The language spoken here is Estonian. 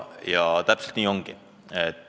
" Ja täpselt nii ongi.